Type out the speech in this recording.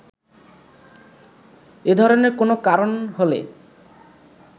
এ ধরনের কোনো কারণ হলে